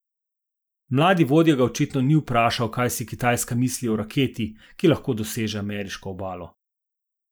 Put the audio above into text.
Mladi vodja ga očitno ni vprašal, kaj si Kitajska misli o raketi, ki lahko doseže ameriško obalo.